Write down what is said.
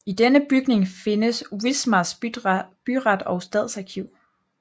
I denne bygning findes Wismars byret og stadsarkiv